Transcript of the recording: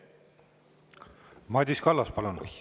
Madis Kallas, palun!